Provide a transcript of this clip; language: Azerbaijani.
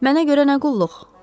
Mənə görə nə qulluq?